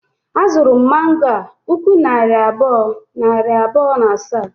A zuru m mango a puku naira abụọ, nari bụọ, na asaa